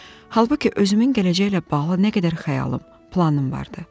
Halbuki özümün gələcəklə bağlı nə qədər xəyalım, planım vardı.